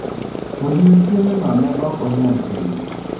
""" Odiechieng'no ne ok anyal tiyo."